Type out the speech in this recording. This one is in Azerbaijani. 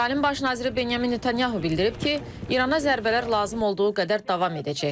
İsrailin Baş naziri Benyamin Netanyahu bildirib ki, İrana zərbələr lazım olduğu qədər davam edəcək.